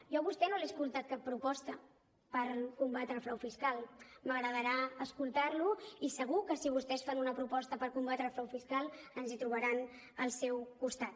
jo a vostè no li he escoltat cap proposta per combatre el frau fiscal m’agradarà escoltar lo i segur que si vostès fan una proposta per combatre el frau fiscal ens hi trobaran al seu costat